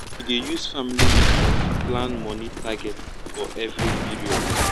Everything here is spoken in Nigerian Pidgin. use family meetings plan money target for every period